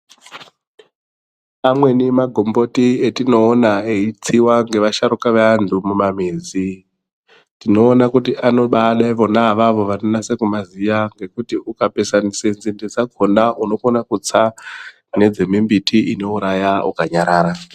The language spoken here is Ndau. Amweni magomboti etinoona eitsiwa ngevasharuka vevanthu mumamizi tinoona kuti anobaada vona avavo vanonase kumaziya ngekuti ,ukapesanise nzinde dzakhona unokona kutsa a ,nedzemimbiti inouraya ukanyarara.